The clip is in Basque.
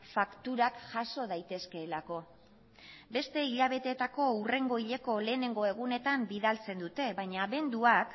fakturak jaso daitezkeelako beste hilabeteetako hurrengo hileko lehenengo egunetan bidaltzen dute baina abenduak